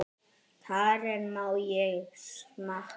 Karen: Má ég smakka?